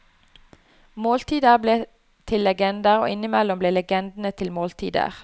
Måltider ble til legender, og innimellom ble legendene til måltider.